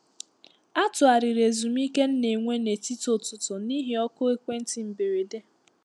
A tụgharịrị ezumike nna enwe ná etiti ụtụtụ n’ihi oku ekwentị mberede.